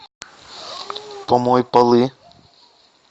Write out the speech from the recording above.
помой полы